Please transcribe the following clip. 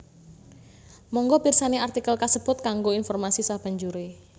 Mangga pirsani artikel kasebut kanggo informasi sabanjuré